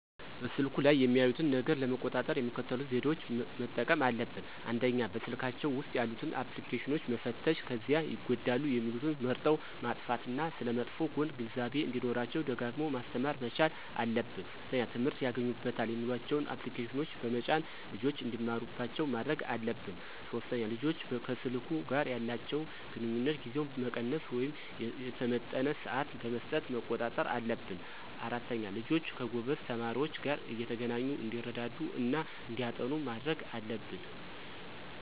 በስልኩ ላይ የሚያዩትን ነገር ለመቆጣጠር የሚከተሉትን ዘዴዎች መጠቀምና አለብን፦ ፩) በስልካቸው ውስጥ ያሉትን አፕልኬሽኖች መፈተሽ ከዚያ ይጎዳሉ የሚሉትን መርጠው ማጥፋት እና ስለመጥፎ ጎኑ ግንዛቤው እንዲኖራቸው ደጋግሞ ማስተማር መቻል አለብን። ፪) ትምህርት ያገኙበታል የሚሏቸውን አፕልኬሽኖች በመጫን ልጆች እንዲማሩባቸው ማድረግ አለብን። ፫) ልጆች ከሰልኩ ጋር ያላቸውን ግንኙነት ጊዜውን መቀነስ ወይም የተመጠነ ስዓት በመስጠት መቆጣጠር አለብን። ፬) ልጆች ከጎበዝ ተማሪዎች ጋር እየተገናኙ እንዲረዳዱ እና እንዲያጠኑ ማድረግ አለብን